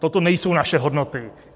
Toto nejsou naše hodnoty.